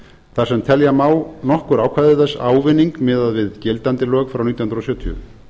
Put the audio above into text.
þar sem telja má nokkur ákvæði þess ávinning miðað við gildandi lög frá nítján hundruð sjötíu